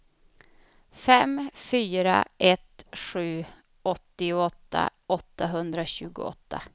fem fyra ett sju åttioåtta åttahundratjugoåtta